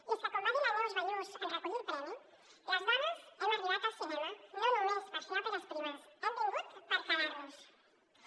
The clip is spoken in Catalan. i és que com va dir la neus ballús en recollir el premi les dones hem arribat al cinema no només per fer òperes primes hem vingut per que·dar·nos·hi